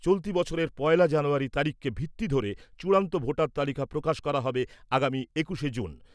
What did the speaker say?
চলতি বছরের পয়লা জানুয়ারী তারিখকে ভিত্তি ধরে চূড়ান্ত ভোটার তালিকা প্রকাশ করা হবে আগামী একুশে জুন।